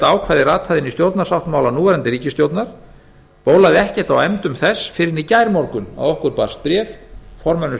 ákvæði rataði inn í stjórnarsáttmála núverandi ríkisstjórnar bólaði ekkert á efndum þess fyrr en í gærmorgun að okkur barst bréf formönnum